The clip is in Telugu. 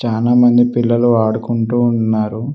చానా మంది పిల్లలు ఆడుకుంటూ ఉన్నారు.